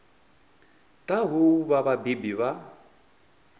ḓaho u vha vhabebi vha